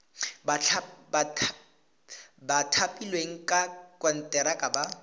ba thapilweng ka konteraka ba